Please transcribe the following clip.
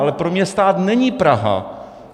Ale pro mě stát není Praha.